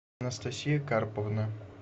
анастасия карповна